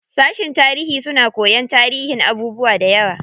Sashen tarihi suna koyan tarihin abubuwa dayawa.